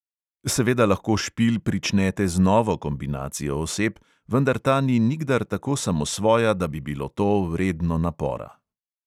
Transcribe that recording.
Seveda lahko špil pričnete z novo kombinacijo oseb, vendar ta ni nikdar tako samosvoja, da bi bilo to vredno napora.